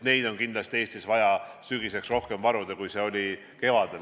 Neid on kindlasti Eestis vaja sügiseks rohkem varuda, kui neid oli kevadel.